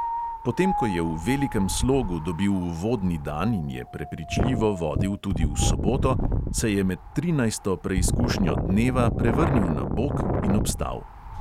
Potem ko je v velikem slogu dobil uvodni dan in je prepričljivo vodil tudi v soboto, se je med trinajsto preizkušnjo dneva prevrnil na bok in obstal.